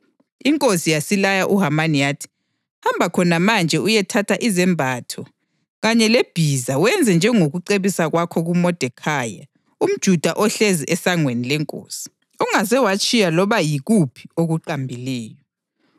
Inkosi yasilaya uHamani yathi, “Hamba khona manje uyethatha izembatho kanye lebhiza wenze njengokucebisa kwakho kuModekhayi umJuda ohlezi esangweni lenkosi. Ungaze watshiya loba yikuphi okuqambileyo.”